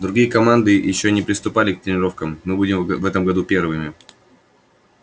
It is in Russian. другие команды ещё и не приступали к тренировкам мы будем в этом году первыми